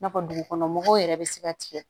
N'a fɔ dugukɔnɔ mɔgɔw yɛrɛ bɛ se ka tigɛ